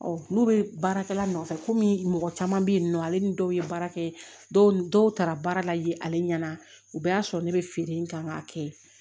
n'u bɛ baarakɛla nɔfɛ komi mɔgɔ caman bɛ yen nɔ ale ni dɔw ye baara kɛ dɔw dɔw taara baara la yen ale ɲɛna u bɛɛ y'a sɔrɔ ne bɛ feere in kan k'a kɛ